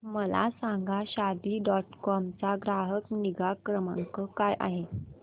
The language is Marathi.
मला सांगा शादी डॉट कॉम चा ग्राहक निगा क्रमांक काय आहे